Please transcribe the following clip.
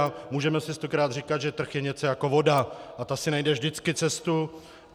A můžeme si stokrát říkat, že trh je něco jako voda a ta si najde vždycky cestu.